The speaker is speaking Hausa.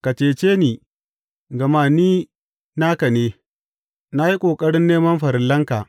Ka cece ni, gama ni naka ne; na yi ƙoƙarin neman farillanka.